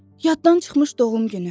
Yaddan çıxmış doğum günü.